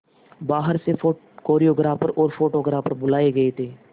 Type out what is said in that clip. बाहर से कोरियोग्राफर और फोटोग्राफर बुलाए गए थे